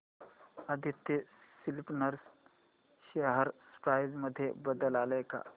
Aditya spinners share price मध्ये बदल आलाय का